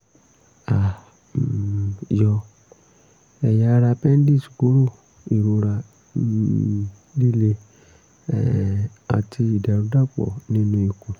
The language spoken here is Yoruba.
a um yọ ẹ̀yà ara àpẹ́ńdíìsì kúrò ìrora um líle um àti ìdàrúdàpọ̀ nínú ikùn